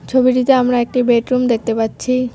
ছবিটিতে আমরা একটি বেডরুম দেখতে পাচ্ছি।